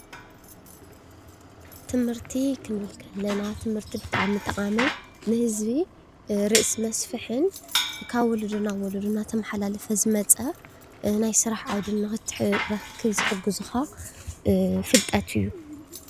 ትምህርቲ ክንብል ከለና ብጣዕሚ ጠቃምን ንህዝቢ ርእሲ መስፍሕን ካብ ወለዶ ናብ ወለዶ እናተመሓላለፈ ዝመፀ ናይ ስራሕ ዓውዲ ንክትረክብ ዝሕግዙካ ፍልጠት እዩ፡፡